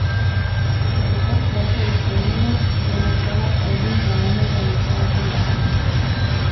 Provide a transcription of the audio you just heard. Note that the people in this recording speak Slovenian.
Ko bo ta kvota izpolnjena, bo načelo eden za enega nehalo veljati.